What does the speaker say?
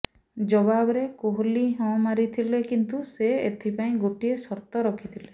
ଜବାବରେ କୋହଲି ହଁ ମାରିଥିଲେ କିନ୍ତୁ ସେ ଏଥିପାଇଁ ଗୋଟିଏ ସର୍ତ୍ତ ରଖିଥିଲେ